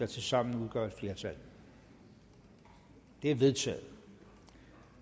tilsammen udgør et flertal det er vedtaget